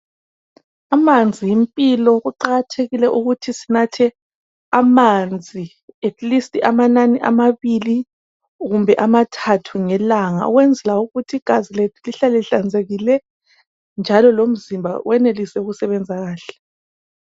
Amanzi yimpilo. Kuqakathekile ukuthi sinathe amanzi phose amanani amabili, kumbe amathathu, ngelanga. Ukwenzela ukuthi igazi lethu lihlale ihlanzekile, njalo lomzimba wenelise ukusebenza kahle.